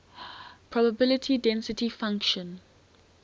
probability density function